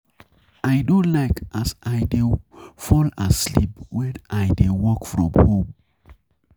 I no like as I dey fall asleep wen I dey work from home.